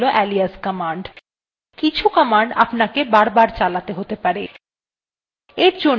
কিছু command আপনাকে বারবার চালাতে হতে পারে